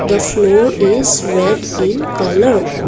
the floor is red in colour.